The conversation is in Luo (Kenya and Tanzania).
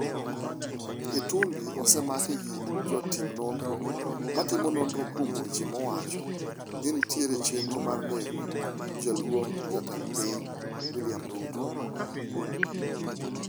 Itumbi osemaki gi jotim nonro matimo nonro kuom weche mawacho ni nitie chenro mar nego Jaluong' Jatend Piny William Ruto.